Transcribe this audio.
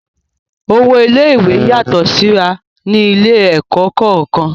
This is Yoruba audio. Owó ilé-ìwé yàtọ̀ síra ní ilé-ẹ̀kọ́ kọ̀ọ̀kan.